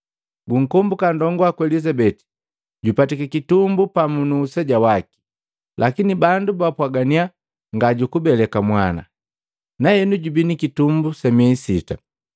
Gunkombuka nndongu waku Elizabeti jupatiki kitumbu pamu nu useja waki. Lakini bandu bapwagannya ngajukubeleka mwana, nahenu jubi nikitumbu sa myei sita.